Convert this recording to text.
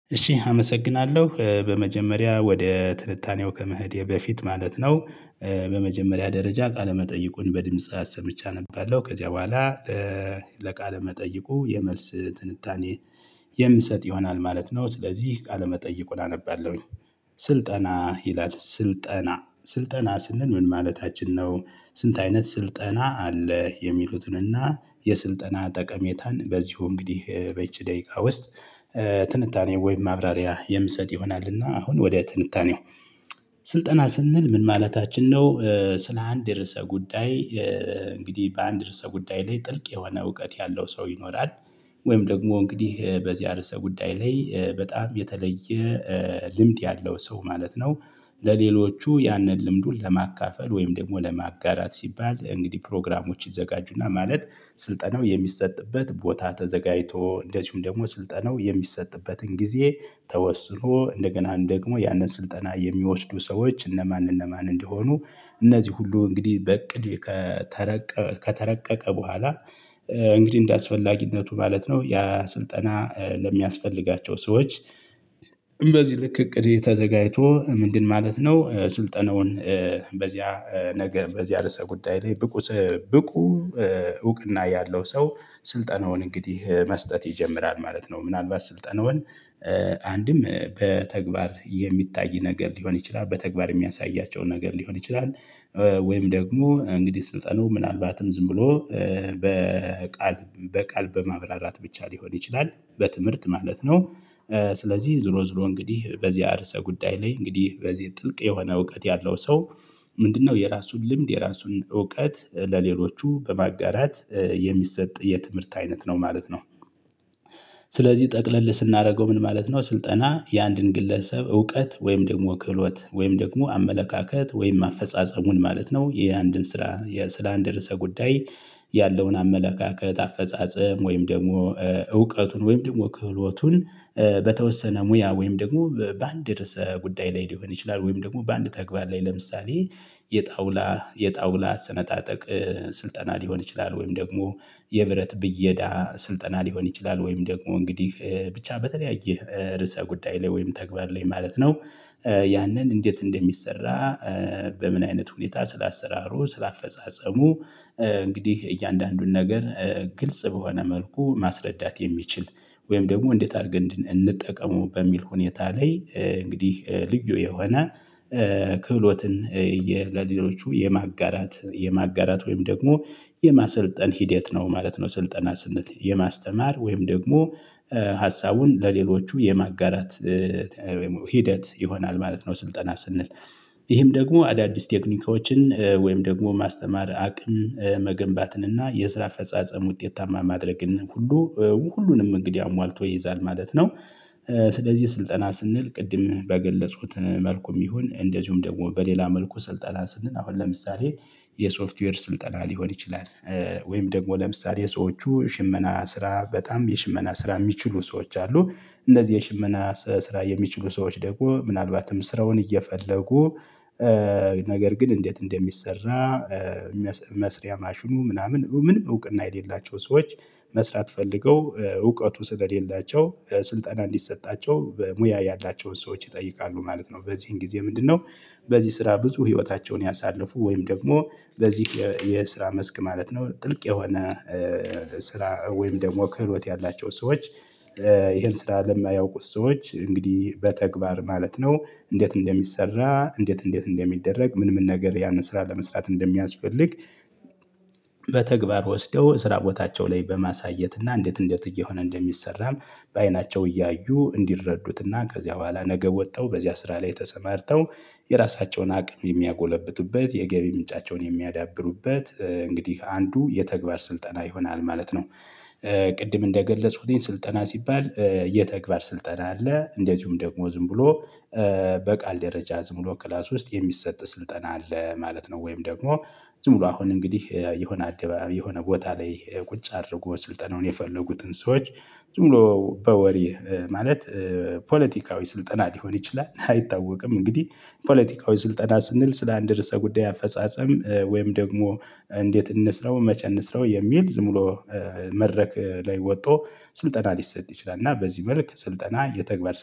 እሺ አመሰግናለሁ በመጀመሪያ ወደ ትንታኔው ከመሄዴ በፊት ማለት ነው። በመጀመሪያ ደረጃ ቃለመጠይቁን በድምጽ አሰምቼ አነባለሁ ከዚያ በኋላ ለቃለመጠይቁ የመልስ ትንታኔ። የምሰጥ ይሆናል ማለት ነው ስለዚህ ቃለመጠይቁን አነባለሁኝ። ስልጠና ይላል ስልጠና ስልጠና ስንል ምን ማለታችን ነው? ስንት አይነት ስልጠና አለ የሚሉትንና። የስልጠና ጠቀሜታን በዚሁ እንግዲህ በይቺ ደቂቃ ውስጥ ትንታኔ ወይም ማብራሪያ የምትሰጥ ይሆናል። እና አሁን ወደ ትንታኔው ስልጠና ስንል ምን ማለታችን ነው? ስለ አንድ የርዕሰ ጉዳይ እንግዲህ በአንድ ርዕሰ ጉዳይ ላይ ጥልቅ የሆነ እውቀት ያለው ሰው ይኖራል። ወይም ደግሞ እንግዲህ በዚህ እርሰ ጉዳይ ላይ በጣም የተለየ ልምድ ያለው ሰው ማለት ነው። ለሌሎቹ ያንን ልምዱን ለማካፈል ወይም ደግሞ ለማጋራት ሲባል እንግዲህ ፕሮግራሞች ይዘጋጁና ማለት። ስልጠናው የሚሰጥበት ቦታ ተዘጋጅቶ እንደዚሁም ደግሞ ስልጠናው የሚሰጥበትን ጊዜ ተወስኖ እንደገና ደግሞ ያንን ስልጠና የሚወስዱ ሰዎች እነማን እነማን እንደሆኑ እነዚህ ሁሉ እንግዲህ በእቅድ ከተረቀ ከተረቀቀ በኋላ። እንግዲህ እንደአስፈላጊነቱ ማለት ነው ያ ስልጠና ለሚያስፈልጋቸው ሰዎች። በዚህ ልክ እቅድ ተዘጋጅቶ ምንድን ማለት ነው ስልጠነውን? በዚያ ነገ በዚያ ርዕሰ ጉዳይ ላይ ብቁ ብቁ እውቅና ያለው ሰው ስልጠናውን እንግዲህ መስጠት ይጀምራል ማለት ነው። ምንአልባት ስልጠናውን አንድም በተግባር የሚታይ ነገር ሊሆን ይችላል በተግባር የሚያሳያቸው ነገር ሊሆን ይችላል። ወይም ደግሞ እንግዲህ ስልጠናው ምናልባትም ዝም ብሎ በቃል በቃል በማብራራት ብቻ ሊሆን ይችላል በትምህርት ማለት ነው። ስለዚህ ዙሮ ዙሮ እንግዲህ በዚያ እርሰ ጉዳይ ላይ እንግዲህ በዚህ ጥልቅ የሆነ እውቀት ያለው ሰው። ምንድነው የራሱን ልምድ የራሱን እውቀት ለሌሎቹ በማጋራት የሚሰጥ የትምህርት አይነት ነው ማለት ነው። ስለዚህ ጠቅለል ስናደርገው ምን ማለት ነው? ስልጠና የአንድን ግለሰብ እውቀት ወይም ደግሞ ክህሎት ወይም ደግሞ አመለካከት ወይም አፈጻጸሙን ማለት ነው ይሄ አንድን ስራ ስለአንድ ርዕሰ ጉዳይ። ያለውን አመለካከት አፈጻጸም ወይም ደግሞ እውቀቱን ወይም ደግሞ ክህሎቱን። በተወሰነ ሙያ ወይም ደግሞ በአንድ ርዕሰ ጉዳይ ላይ ሊሆን ይችላል። ወይም ደግሞ በአንድ ተግባር ላይ ለምሳሌ የጣውላ የጣውላ አሰነጣጠቅ። ስልጠና ሊሆን ይችላል ወይም ደግሞ የብረት ብየዳ ስልጠና ሊሆን ይችላል። ወይም ደግሞ እንግዲህ ብቻ በተለያየ ርዕሰ ጉዳይ ላይ ወይም ተግባር ላይ ማለት ነው። ያንን እንዴት እንደሚሰራ በምን አይነት ሁኔታ ስለ አሰራሩ ስለ አፈጻጸሙ። እንግዲህ እያንዳንዱን ነገር ግልጽ በሆነ መልኩ ማስረዳት የሚችል ወይም ደግሞ እንዴት አድርገን እንጠቀመው በሚል ሁኔታ ላይ እንግዲህ ልዩ የሆነ ክህሎትን የ ለሌሎቹ የማጋራት የማጋራት ወይም ደግሞ የማሰልጠን ሂደት ነው ማለት ነው። ስልጠና ስንል የማስተማር ወይም ደግሞ ሀሳቡን ለሌሎቹ የማጋራት ወይም ሂደት ይሆናል ማለት ነው። ስልጠና ስንል ይህም ደግሞ አዳዲስ ቴክኒኮችን ወይም ደግሞ ማስተማር አቅም መገንባትን እና የስራ አፈጻጸም ውጤታማ ማድረግን ሁሉ ሁሉንም እንግዲህ አሟልቶ ይይዛል ማለት ነው። ስለዚህ ስልጠና ስንል ቅድም በገለፅኩት መልኩም ይሁን እንደዚሁም ደግሞ በሌላ መልኩ ስልጠና ስልን አሁን ለምሳሌ የሶፍትዌር ስልጠና ሊሆን ይችላል። ወይም ደግሞ ለምሳሌ ሰዎቹ ሽመና ስራ በጣም የሽመና ስራ የሚችሉ ሰዎች አሉ። እንደዚህ የሽመና ስራ የሚችሉ ሰዎች ደግሞ ምናልባትም ስራውን እየፈለጉ ነገር ግን እንዴት እንደሚሰራ። መስሪያ ማሽኑ ምናምን ምን እውቅና የሌላቸው ሰዎች። መስራት ፈልገው እውቀቱ ስለሌላቸው ስልጠና እንዲሰጣቸው በሙያ ያላቸውን ሰዎች ይጠይቃሉ ማለት ነው። በዚህን ጊዜ ምንድነው? በዚህ ስራ ብዙ ህይወታቸውን ያሳልፉ ወይም ደግሞ በዚህ የስራ መስክ ማለት ነው ጥልቅ የሆነ ስራ ወይም ደግሞ ክህሎት ያላቸው ሰዎች። ይሄን ስራ ለማያውቁት ሰዎች እንግዲህ በተግባር ማለት ነው እንዴት እንደሚሰራ እንዴት እንዴት እንደሚደረግ ምን ምን ነገር ያንን ስራ ለመስራት እንደሚያስፈልግ። በተግባር ወስደው ስራ ቦታቸው ላይ በማሳየት እና እንዴት እንደት እየሆነ እንደሚሰራም። በአይናቸው እያዩ እንዲረዱትና ከዚያ በኋላ ነገ ወጥተው በዚያ ስራ ላይ ተሰማርተው የራሳቸውን አቅም የሚያጎለብቱበት የገቢ ምንጫቸውን የሚያዳብሩበት እንግዲህ አንዱ የተግባር ስልጠና ይሆናል ማለት ነው። ቅድም እንደገለፅኩትኝ ስልጠና ሲባል የተግባር ስልጠና አለ እንደዚሁም ደግሞ ዝም ብሎ በቃል ደረጃ ዝም ብሎ ክላስ ውስጥ የሚሰጥ ስልጠና አለ ማለት ነው። ወይም ደግሞ ዝም ብሎ አሁን እንግዲህ የሆነ አደባባይ የሆነ ቦታ ላይ ቁጭ አድርጎ ስልጠናውን የፈለጉትን ሰዎች ዝም ብሎ በወሬ ማለት ፖለቲካዊ ስልጠና ሊሆን ይችላል። አይታወቅም እንግዲህ ፖለቲካዊ ስልጠና ስንል ስለ አንድ ርዕሰ ጉዳይ አፈጻጸም ወይም ደግሞ እንዴት እንስራው መቼ እንስራው የሚል ዝም ብሎ። መድረክ ላይ ወጥቶ ስልጠና ሊሰጥ ይችላል። እና በዚህ መልክ ስልጠና የተግባር